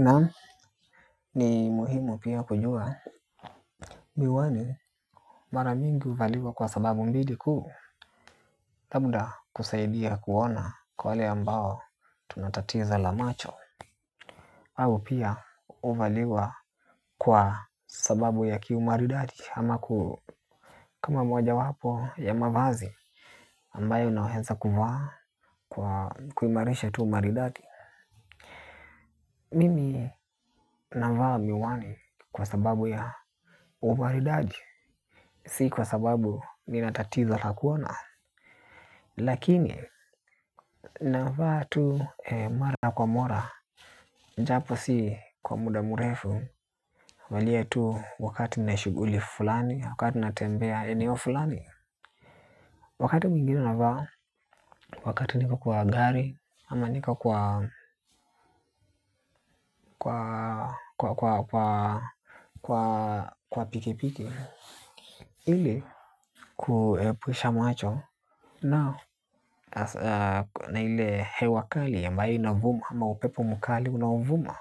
Naam ni muhimu pia kujua. Miwani maramingi huvaliwa kwa sababu mbili kuu labda kusaidia kuona kwa wale ambao tunatatizo la macho. Au pia huvaliwa kwa sababu ya kiumaridadi. Ama kama moja wapo ya mavazi ambayo naweza kufaa kwa kuimarisha tuumaridadi. Mimi navaa miwani kwa sababu ya umaridadi. Sikwa sababu ni natatizo lakuona. Lakini, navaa tu mara kwa mara. Njapo si kwa muda murefu huvalia tu wakati nina shughuli fulani. Wakati na tembea eneo fulani. Wakati mwingine navaa. Wakati niko kwa gari. Ama nika kwa Kwa Kwa Kwa Kwa Kwa Kwa pikipiki ili kuepusha macho Nao Na ile he wakali ambayo inavuma ama upepo mkali unaovuma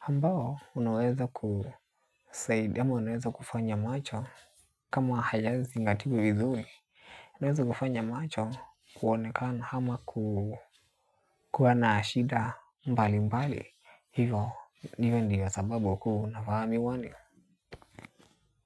ambao unaweza kusaidia ama unaweza kufanya macho kama hayazi nga tiwi vizuri. Unaweza kufanya macho kuonekana ama kuwanashida mbali mbali hivyo ndiyo sababu kuunavaami wani.